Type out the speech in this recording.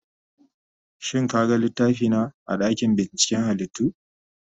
Shin ka gan littafina a dakin binciken halittu?